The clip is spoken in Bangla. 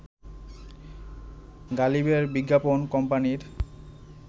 গালিবের বিজ্ঞাপন কোম্পানির